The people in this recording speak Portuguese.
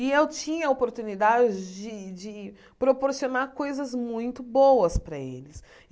E eu tinha a oportunidade de de proporcionar coisas muito boas para eles.